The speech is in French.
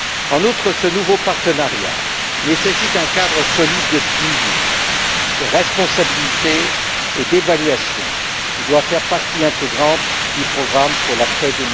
En outre, ce nouveau partenariat nécessite un cadre solide de suivi, de responsabilité et d'évaluation qui doit faire partie intégrante du programme pour l'après